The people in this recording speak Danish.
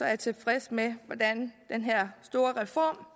jeg tilfreds med hvordan den her store